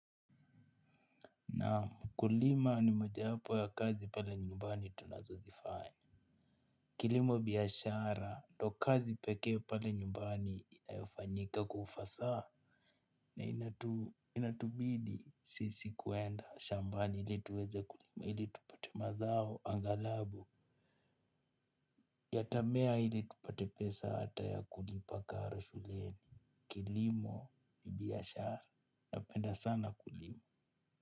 Naam ukulima ni moja wapo ya kazi pale nyumbani tunazo zifanya. Kilimo biashara ndio kazi pekee pale nyumbani inayofanyika kwa ufasaha. Na inatubidi sisi kuenda shambani ili tuweze kulima ili tupate mazao anghalabu. Yatamea ili tupate pesa ata ya kulipa karo shuleni. Kilimo ni biashara napenda sana kulima.